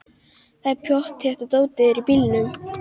Það er pottþétt að dótið er í bílnum!